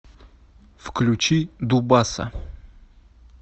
включи дубаса